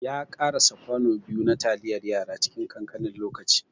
Ya ƙarasa kwano biyu na taliyar yara cikin ƙanƙanin lokaci.